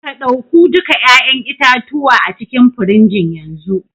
ka dauku duka 'ya'yan itatuwa acikin firigin yanzu.